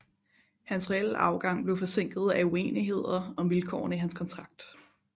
Hans reelle afgang blev forsinket af uenigheder om vilkårene i hans kontrakt